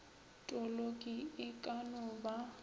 toloki e ka no ba